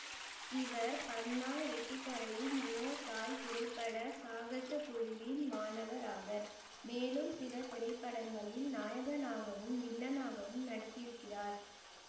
இவர் பன்னா ரிட்டிக்ரையின் மியோதாய் திரைப்பட சாகசக்குழுவின் மாணவராவர் மேலும் சில திரைப்படங்களில் நாயகனாகவும் வில்லனாகவும் நடித்திருக்கிறார்